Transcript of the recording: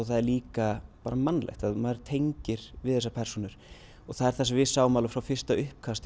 það er líka bara mannlegt maður tengir við þessar persónur og það er það sem við sáum alveg frá fyrsta uppkasti